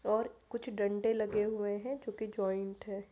और कुछ डंडे लगे हुए हैं जो की जॉइन्ट हैं।